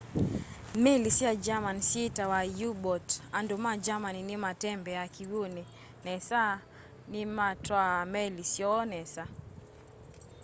meli sya germany syeetawa u-boat andu ma germany ni matembeaa kiwuni nesa na nimatwaa meli syoo nesa